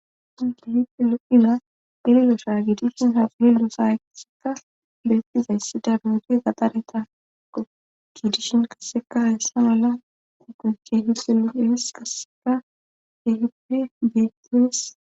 Angihite lo7ila girilosha giidishin hafuli lusayaseka beettizayssi dabuudi gadaretakko giidishin kasseka hessa mala u guje hisse loefis kasseka hehippe beetiyees.